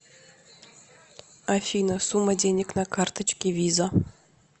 афина сумма денег на карточке виза